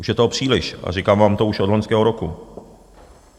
Už je toho příliš a říkám vám to už od loňského roku.